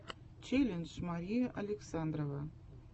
челлендж мария александрова